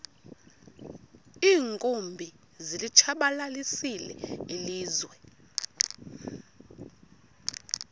iinkumbi zilitshabalalisile ilizwe